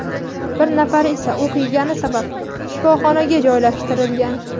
bir nafari esa o‘q yegani sabab shifoxonaga joylashtirilgan.